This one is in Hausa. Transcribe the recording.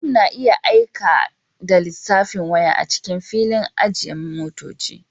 Mutum na iya aika da lissafin waya a cikin filin ajiye motoci